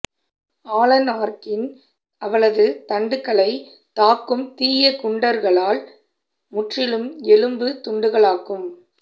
Alan ஆர்க்கின் அவளது தண்டுகளைத் தாக்கும் தீய குண்டர்களால் முற்றிலும் எலும்புத் துண்டுகளாகும்